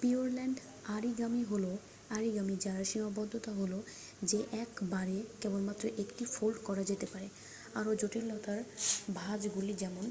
Pureland origami হল origami যার সীমাবদ্ধতা হল যে একবারে কেবলমাত্র একটি ফোল্ড করা যেতে পারে আরও জটিলতোর ভাঁজগুলি যেমন